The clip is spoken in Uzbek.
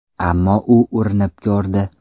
Ammo u urinib ko‘rdi.